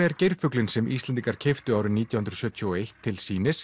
er geirfuglinn sem Íslendingar keyptu árið nítján hundruð sjötíu og eitt til sýnis